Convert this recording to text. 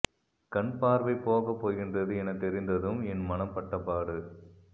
கண் பார்வை போக போகின்றது என தெரிந்ததும் என் மனம் பட்டபாடு